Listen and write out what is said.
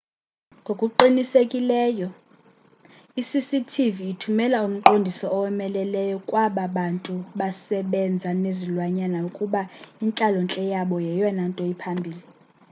ngokuqinisekileyo i-cctv ithumela umqondiso owomeleleyo kwaba bantu basebenza nezilwanyana ukuba intlalontle yabo yeyona nto iphambili